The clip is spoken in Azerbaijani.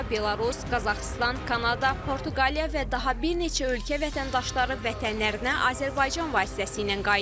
Rusiya, Belarus, Qazaxıstan, Kanada, Portuqaliya və daha bir neçə ölkə vətəndaşları vətənlərinə Azərbaycan vasitəsilə qayıdır.